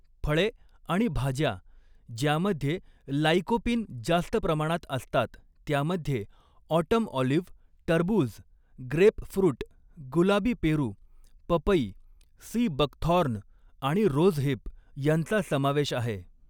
फळे आणि भाज्या ज्यामध्ये लाइकोपीन जास्त प्रमाणात असतात त्यामध्ये ऑटम ऑलिव्ह टरबूज ग्रेपफृट गुलाबी पेरू पपई सी बकथॉर्न आणि रोझहिप यांचा समावेश आहे.